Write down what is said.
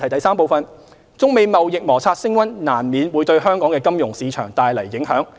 三中美貿易摩擦升溫難免會對香港的金融市場帶來影響。